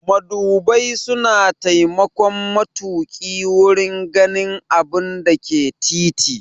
Madubai suna taimakon matuƙi wurin ganin abinda ke titi.